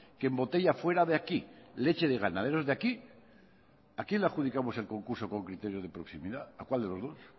que embotella fuera de aquí leche de ganaderos de aquí a quién le adjudicamos el concurso con criterios de proximidad a cuál de los dos